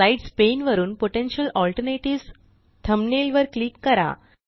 slides pane वरुन potential alternatives thumbnail वर click करा